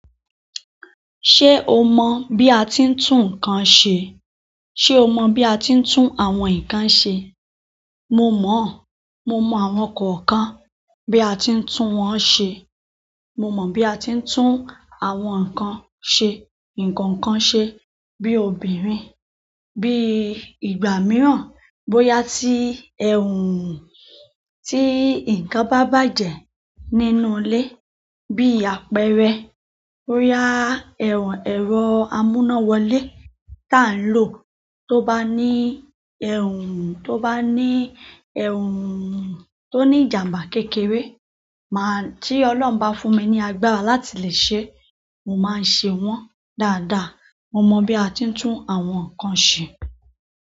Ṣé o mọ̀ bí a ti ń tún nǹkan ṣe? Ṣé o mọ bí a ti ń tún àwọn nǹkan ṣe? Mo mọ̀. Mo mọ àwọn kọ̀ọ̀kan bí a ti ń tún wọn ṣe. Mo mọ bí a ti ń tún àwọn nǹkan ṣe. Ǹkankan ṣe bí obìnrin, bí ìgbà mìíràn bóyá tí, tí nǹkan bá bàjẹ́ nínú ilé bí apẹ̀erẹ̀. Boyá ẹ̀rọ amúnáwọlé ta n lò tó bá ní, tó bá ní tó ní ìjàmbá kékeré. Máa, tí Ọlọ́run bá fún mi ní agbára láti lè ṣe, mo máa n ṣe wọ́n dáadáa. Mo mọ bí a ti ń tún àwọn nǹkan ṣe.